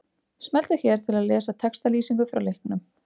Smelltu hér til að lesa textalýsingu frá leiknum.